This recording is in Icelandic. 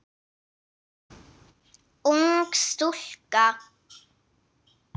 Ung stúlka.